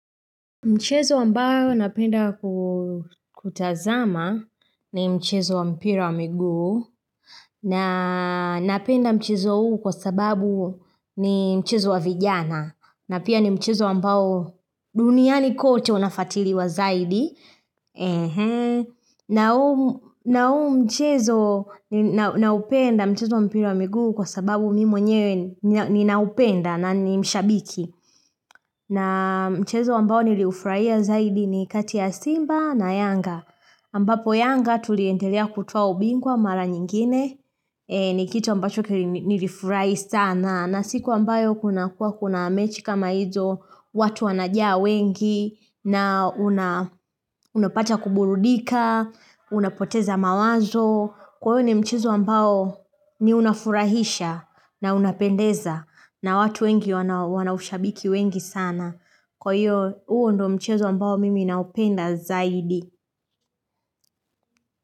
Mchezo ambao napenda kutazama ni mchezo wa mpira wa miguu na napenda mchezo huu kwa sababu ni mchezo wa vijana na pia ni mchezo wa ambao duniani kote wanafuatiliwa zaidi. Na huu mchezo na upenda mchezo wa mpira wa migu kwa sababu mimi mwenyewe ni na upenda na ni mshabiki. Na mchezo ambao nilifurahia zaidi ni kati ya simba na yanga. Ambapo yanga tuliendelea kutoa ubingwa mara nyingine. Ni kitu ambacho nilifurahi sana. Na siku ambayo kuna kuwa kuna mechi kama hizo watu wanajia wengi na unapata kuburudika, unapoteza mawazo. Kwa hiyo ni mchezo ambao ni unafurahisha na unapendeza na watu wengi wanaushabiki wengi sana. Kwa hiyo huo ndo mchezo ambao mimi naupenda zaidi.